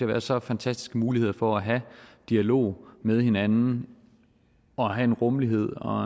være så fantastiske muligheder for at have en dialog med hinanden og have en rummelighed og